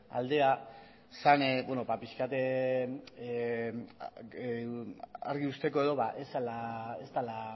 aldea zen pixka bat argi uzteko ez dela